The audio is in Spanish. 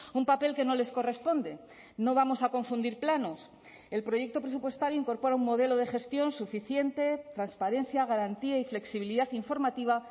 un papel que no les corresponde no vamos a confundir planos el proyecto presupuestario incorpora un modelo de gestión suficiente transparencia garantía y flexibilidad informativa